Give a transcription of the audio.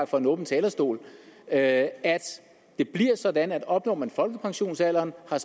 fra en åben talerstol at det bliver sådan at opnår man folkepensionsalderen og har